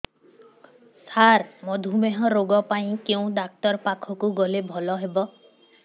ସାର ମଧୁମେହ ରୋଗ ପାଇଁ କେଉଁ ଡକ୍ଟର ପାଖକୁ ଗଲେ ଭଲ ହେବ